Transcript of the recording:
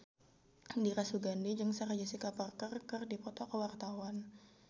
Dira Sugandi jeung Sarah Jessica Parker keur dipoto ku wartawan